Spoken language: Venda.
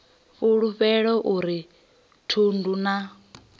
fulufhelo a uri thundu na